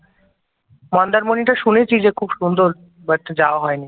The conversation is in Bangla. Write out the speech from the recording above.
মন্দারমনিটা শুনেছি যে খুব সুন্দর বাট যাওয়া হয় নি